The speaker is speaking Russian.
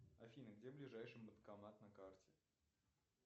афина где ближайший банкомат на карте